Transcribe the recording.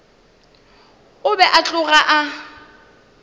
o be a tloga a